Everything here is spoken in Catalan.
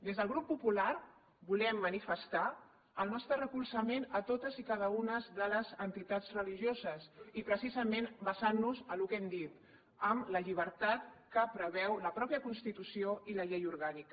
des del grup popular volem manifestar el nostre recolzament a totes i cada una de les entitats religioses i precisament basant nos en el que hem dit en la llibertat que preveu la mateixa constitució i la llei orgànica